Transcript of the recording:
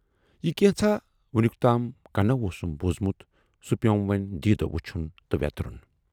یہِ کینژھا وُنیُکتام کنَو اوسُم بوٗزمُت، سُے پیوم وۅنۍ دیٖدو وُچھُن تہٕ وٮ۪ترُن۔